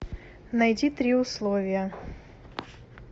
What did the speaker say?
найди три условия